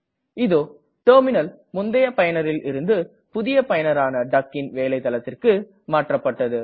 இதோ டெர்மினல் முந்தய பயனரில் இருந்து புதிய பயனரான duckன் வேலை தளத்திற்கு மாற்றப்பட்டது